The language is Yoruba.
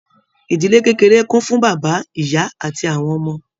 Ìdílé kékeré kún fún bàbá, ìyá àti àwọn ọmọ.